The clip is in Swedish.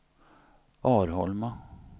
Arholma